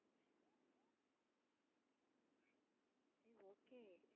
சரி okay